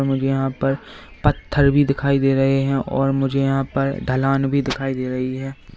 मुझे यहां पर पत्थर भी दिखाई दे रहे हैं और मुझे यहां पर ढलान भी दिखाई दे रही है।